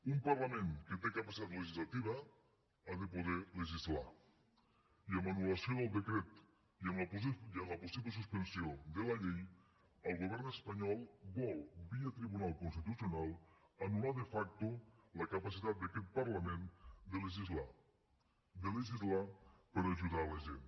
un parlament que té capacitat legislativa ha de poder legislar i amb l’anul·lació del decret i amb la possible suspensió de la llei el govern espanyol vol via tribunal constitucional anular de facto la capacitat d’aquest parlament de legislar de legislar per ajudar la gent